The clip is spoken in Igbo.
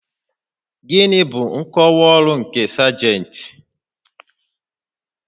Gịnị bụ nkọwa ọrụ nke sajentị?